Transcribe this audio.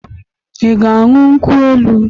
Ị ga añyu nkwụ- elụ?